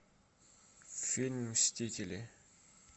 фильм мстители